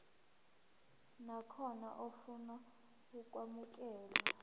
nakhona ofuna ukwamukelwa